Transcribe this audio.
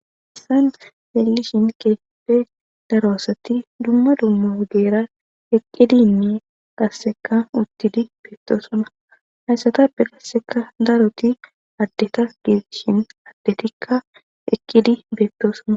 Hayssan xeelishin keeeppe daroasatti dumma dumma ogerra eqqidiinne qasseka uttidi beetto suna hayssatappe qasseka daroti addeta gii shin addetikka ekkidi beetto suna